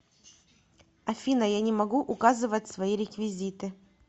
афина я не могу указывать свои реквизиты